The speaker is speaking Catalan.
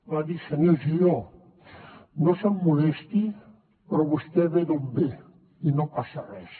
va dir senyor giró no se’m molesti però vostè ve d’on ve i no passa res